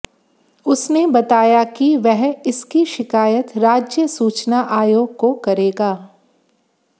उसने बताया कि वह इसकी शिकायत राज्य सूचना आयोग को करेगा